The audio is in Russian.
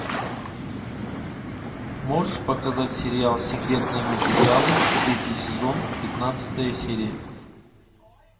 можешь показать сериал секретные материалы третий сезон пятнадцатая серия